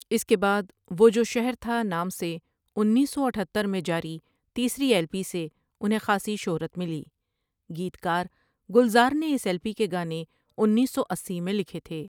اِس کے بعد وہ جو شہر تھا نام سے انیس سو اتہتر میں جاری تِیسری ایلپی سے اُنہیں خاصی شہرت مِلی گِیتکارگُلزار نے اِس ایلپی کے گانے انیس سو اسی میں لِکھے تھے۔